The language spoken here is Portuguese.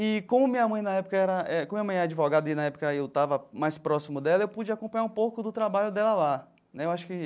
E, como minha mãe na época era eh como minha mãe é advogada e, na época, eu estava mais próximo dela, eu pude acompanhar um pouco do trabalho dela lá né eu acho que.